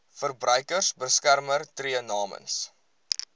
verbruikersbeskermer tree namens